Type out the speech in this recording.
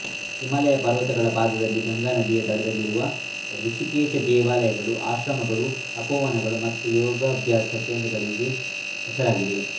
ಹಿಮಾಲಯ ಪರ್ವತಗಳ ಪಾದದಲ್ಲಿ ಗಂಗಾ ನದಿಯ ದಡದಲ್ಲಿರುವ ರಿಷಿಕೇಶ ದೇವಾಲಯಗಳು ಆಶ್ರಮಗಳು ತಪೋವನಗಳು ಮತ್ತು ಯೋಗಾಭ್ಯಾಸ ಕೇಂದ್ರಗಳಿಗೆ ಹೆಸರಾಗಿದೆ